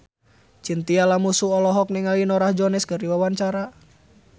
Chintya Lamusu olohok ningali Norah Jones keur diwawancara